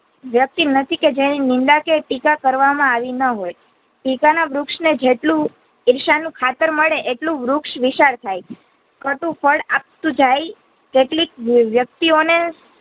વ્યક્તિ નથી કે જેની નિંદા કે ટીકા કરવામાં આવી ન હોઈ ટીકા ના વૃક્ષ ને જેટલું ઈર્ષા નું ખાતર મળે એટલું વૃક્ષ વિશાલ થાય કટુ ફળ આપતું જાય તેટલી જ વ્યક્તિઓને